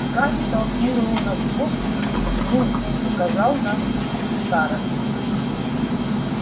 гарри толкнул рона в бок и кивнув указал на старосту